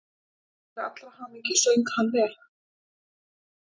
Til allrar hamingju söng hann vel!